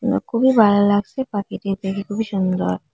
খুবই ভালো লাগসে পাখিটি দেখে খুবই সুন্দর।